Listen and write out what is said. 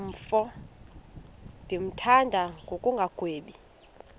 mfo ndimthanda ngokungagwebi